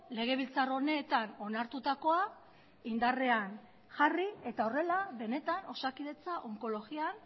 legebiltzar honetan onartutakoa indarrean jarri eta horrela benetan osakidetza onkologian